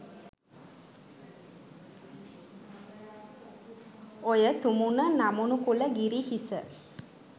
ඔය තුමුණ නමුනු කුල ගිරි හිස